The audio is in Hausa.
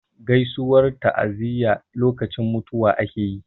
Gaisuwar ta'aziyya lokacin mutuwa ake yi.